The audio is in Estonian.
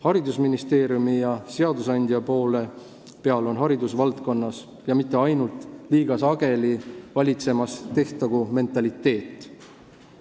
Haridusministeeriumi ja seadusandja poole peal on haridusvaldkonnas – ja mitte ainult – liiga sageli valitsemas tehtagu-mentaliteet.